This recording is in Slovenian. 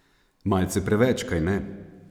Malce preveč, kajne?